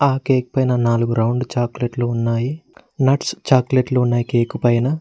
ఆ కేక్ పైన నాలుగు రౌండ్ చాక్లెట్లు ఉన్నాయి నట్స్ చాక్లెట్లు ఉన్నాయి కేకు పైన.